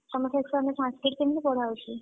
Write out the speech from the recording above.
ତମ section ରେ Sanskrit କେମିତି ପଢାହଉଛି?